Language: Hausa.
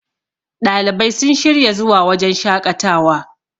ɗalibai sun shirya zuwa wajen shaƙatawa